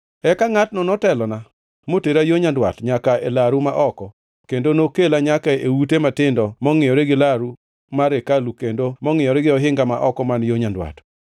Eka ngʼatno notelona motera yo nyandwat nyaka e laru ma oko kendo nokela nyaka e ute matindo mongʼiyore gi laru mar hekalu kendo mongʼiyore gi ohinga ma oko man yo nyandwat.